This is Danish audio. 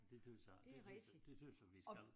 Det dét vi siger det det det tøs jeg vi skal